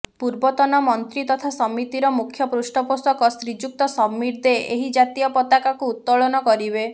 ପୂର୍ବତନ ମନ୍ତ୍ରୀ ତଥା ସମିତିର ମୁଖ୍ୟ ପୃଷ୍ଠପୋଷକ ଶ୍ରୀଯୁକ୍ତ ସମୀର ଦେ ଏହି ଜାତୀୟ ପତାକାକୁ ଉତୋଳନ କରିବେ